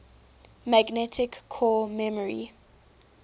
magnetic core memory